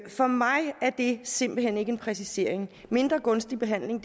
for mig er det simpelt hen ikke en præcisering mindre gunstig behandling